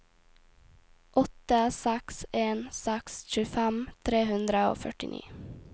åtte seks en seks tjuefem tre hundre og førtini